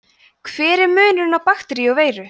hver er munurinn á bakteríu og veiru